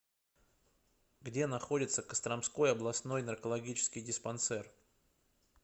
где находится костромской областной наркологический диспансер